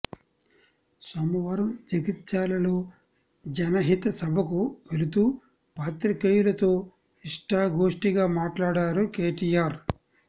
సోమవారం జగిత్యాలలో జనహిత సభకు వెళుతూ పాత్రికేయులతో ఇష్టాగోష్ఠిగా మాట్లాడారు కేటీఆర్